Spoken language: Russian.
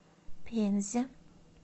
пензе